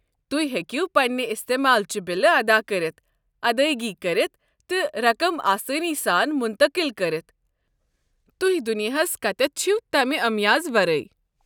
توہہِ ہیٚکِو پنٛنہِ استمال چہِ بلہٕ ادا کٔرتھ، ادٲیگی کٔرِتھ، تہٕ رقم آسٲنی سان مُنتقٕل کٔرِتھ، توہہِ دُنیاہس كتیتھ چھِوٕ تمہِ امیازٕ ورٲے۔